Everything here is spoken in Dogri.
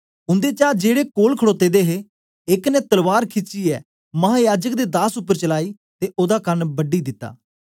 उन्देचा जेड़े कोल खडोते दे हे एक ने तलवार खिचीये महायाजक दे दास उपर चालाई ते ओदा कन बड़ी दिता